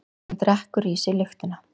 Hún drekkur í sig lyktina.